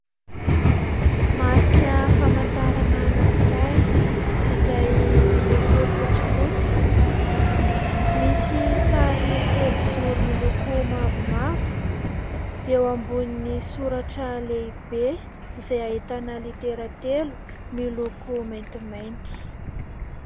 Marika fahamantarana anankiray izay miloko fotsifotsy, misy sary telozoro miloko mavomavo, eo ambonin'ny soratra lehibe izay ahitana litera telo miloko maintimainty.